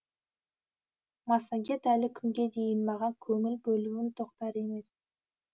массагет әлі күнге дейін маған көңіл бөлуін тоқтар емес